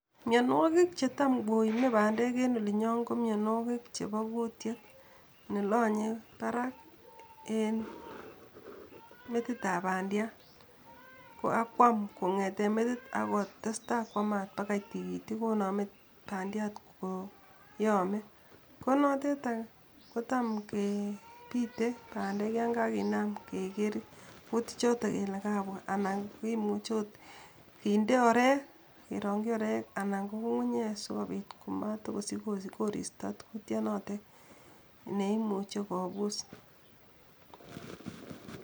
Mianwogiik chetam koime pandeek en olinyon ko mianwogiik chepo kutiet nelonye parak en metitap pandiat ak kwam kong'eten metit ak kotesta kwamat pagai tigitik koname pandiat koyame, ko notet any kotam kepite pandeek yon kaginam kegeer kutichoton kele kabwa anan kimuche agot kinde orek kerongyi orek anan ko ng'ung'unyek sikopiit komatakosich koristo kutyanatet neimuche agot kopus.